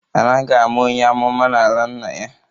Anaghi ama onye amụma n'ala nna ya